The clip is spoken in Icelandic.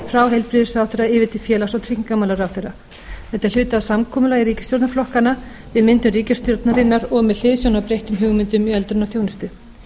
frá heilbrigðisráðherra yfir til félags og tryggingamálaráðherra þetta er hluti af samkomulagi ríkisstjórnarflokkanna við myndun ríkisstjórnarinnar og með hliðsjón af breyttum hugmyndum í öldrunarþjónustu